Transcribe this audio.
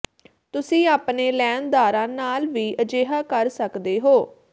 ਤੁਸੀਂ ਆਪਣੇ ਲੈਣਦਾਰਾਂ ਨਾਲ ਵੀ ਅਜਿਹਾ ਕਰ ਸਕਦੇ ਹੋ